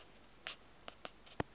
tariewe sluit btw